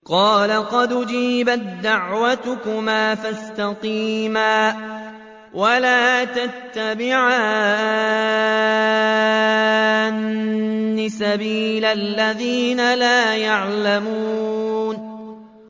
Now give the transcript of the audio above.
قَالَ قَدْ أُجِيبَت دَّعْوَتُكُمَا فَاسْتَقِيمَا وَلَا تَتَّبِعَانِّ سَبِيلَ الَّذِينَ لَا يَعْلَمُونَ